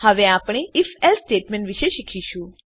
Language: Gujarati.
હવે આપણે ifએલ્સે સ્ટેટમેંટ વિશે શીખીશું